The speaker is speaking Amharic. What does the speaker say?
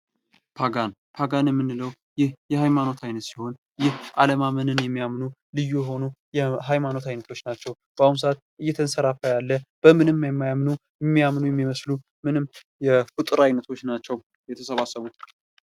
ፓጋን ፓጋን የምንለው ይህ የሃይማኖት አይነት ሲሆን ይህ አለማመንን የሚያምኑ ልዩ የሆኑ የሃይማኖት አይነቶች ናቸው በአሁኑ ሰአት እየተንሰራፋ ያለ በምንም የማያምኑ የሚያምኑ የሚመስሉ የፍጡር አይነቶች የተሰባሰቡ